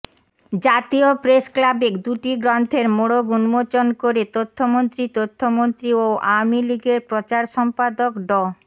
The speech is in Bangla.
জাতীয় প্রেসক্লাবে দুটি গ্রন্থের মোড়ক উন্মোচন করে তথ্যমন্ত্রী তথ্যমন্ত্রী ও আওয়ামী লীগের প্রচার সম্পাদক ড